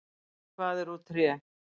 Hvað er úr tré?